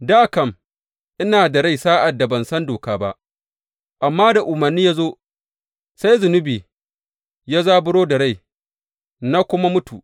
Dā kam ina da rai sa’ad da ban san doka ba; amma da umarni ya zo, sai zunubi ya zaburo da rai na kuma mutu.